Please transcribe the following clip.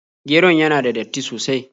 Geron yana da datti sosai.